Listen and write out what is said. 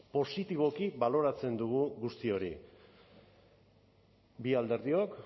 positiboki baloratzen dugu guzti hori bi alderdiok